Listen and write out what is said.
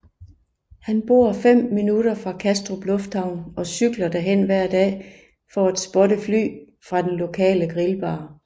Han bor fem minutter fra Kastrup lufthavn og cykler derhen hver dag for at spotte fly fra den lokale grillbar